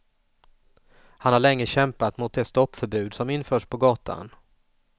Han har länge kämpat mot det stoppförbud som införts på gatan.